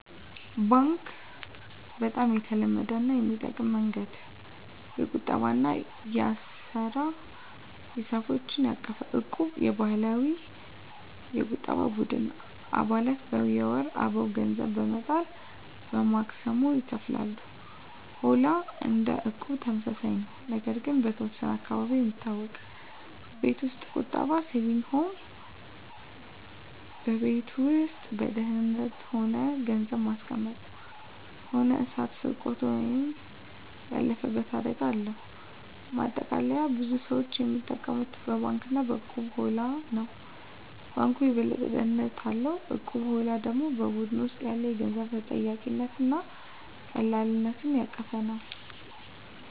1. ባንክ (Bank) - በጣም የተለመደው እና የሚጠበቀው መንገድ። የቁጠባ እና የአሰራ ሂሳቦችን ያቀፈ። 2. እቁብ (Equb) - የባህላዊ የቁጠባ ቡድን። አባላት በወር አበው ገንዘብ በመጠራት በማክሰሞ ይካፈላሉ። 3. ሆላ (Holla) - እንደ እቁብ ተመሳሳይ ነው፣ ነገር ግን በተወሰነ አካባቢ የሚታወቅ። 4. ቤት ውስጥ ቁጠባ (Saving at Home) - በቤት ውስጥ በደህንነት ሆኖ ገንዘብ ማስቀመጥ። ሆኖ እሳት፣ ስርቆት ወይም ያለፈበት አደጋ አለው። ማጠቃለያ ብዙ ሰዎች የሚጠቀሙት በባንክ እና በእቁብ/ሆላ ነው። ባንኩ የበለጠ ደህንነት አለው፣ እቁቡ/ሆላው ደግሞ በቡድን ውስጥ ያለ የገንዘብ ተጠያቂነት እና ቀላልነት ያቀፈ ነው።